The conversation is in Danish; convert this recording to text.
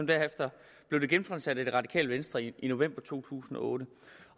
derefter blev det genfremsat af det radikale venstre i november to tusind og otte